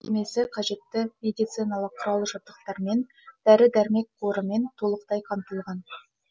емдеу мекемесі қажетті медициналық құрал жабдықтармен дәрі дәрмек қорымен толықтай қамтылған